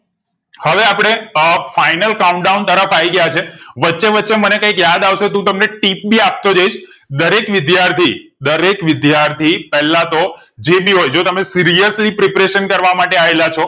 હવે આપણે અ final count down તરફ આઈ ગયા છે વચ્ચે વચ્ચે મને કંઈક યાદ આવ સે તો હું મતં ને tip ભી આપતો જાઈશ દરેક વિદ્યાર્થી દરેક વિદ્યાર્થી પેલા તો જે ભી હોય જો તમે seriously preparation કરવા માટે આવેલા છે